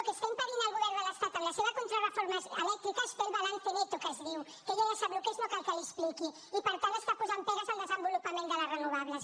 el que està impedint el govern de l’estat amb la seva contrareforma elèctrica és fer el balance neto que se’n diu que ella ja sap el que és no cal que l’hi expliqui i per tant està posant pegues al desenvolupament de les renovables